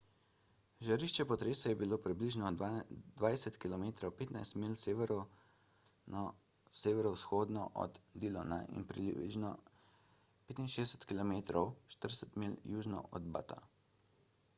žarišče potresa je bilo približno 20 km 15 milj severno-severovzhodno od dillona in približno 65 km 40 milj južno od butta